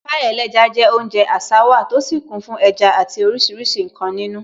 Pie ẹlẹ́ja je oúnjẹ àṣà wa, tó sì kún fún ẹja àti oríṣiríṣi nkan nínú.